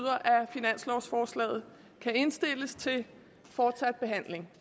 finanslovsforslaget kan indstilles til fortsat behandling